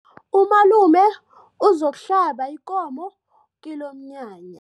Umalume uzokuhlaba ikomo kilomnyanya.